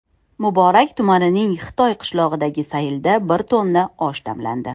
Muborak tumanining Xitoy qishlog‘idagi saylda bir tonna osh damlandi.